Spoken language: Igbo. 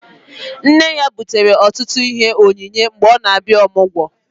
Nne ya butere ọtụtụ ihe onyinye mgbe ọ na-abịa ọmụgwọ